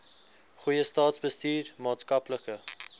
goeie staatsbestuur maatskaplike